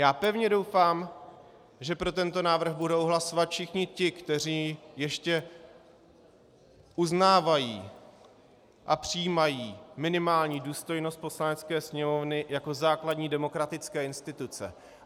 Já pevně doufám, že pro tento návrh budou hlasovat všichni ti, kteří ještě uznávají a přijímají minimální důstojnost Poslanecké sněmovny jako základní demokratické instituce.